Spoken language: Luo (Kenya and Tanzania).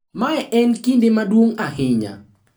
Mae en kinde maduong’ ahinya.